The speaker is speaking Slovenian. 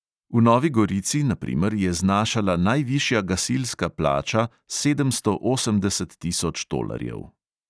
V novi gorici, na primer, je znašala najvišja gasilska plača sedemsto osemdeset tisoč tolarjev.